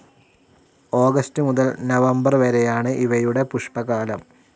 August മുതൽ November വരെയാണ് ഇവയുടെ പുഷ്പകാലം.